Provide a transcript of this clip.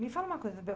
Me fala uma coisa.